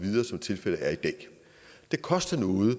tilfældet er i dag det koster noget at